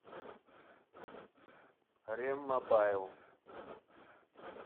ремобайл